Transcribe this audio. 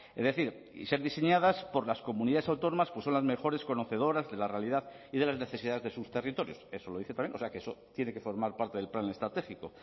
es decir y ser diseñadas por las comunidades autónomas pues son las mejores conocedoras de la realidad y de las necesidades de sus territorios eso lo dice también o sea que eso tiene que formar parte del plan estratégico